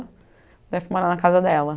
Daí eu fui morar na casa dela.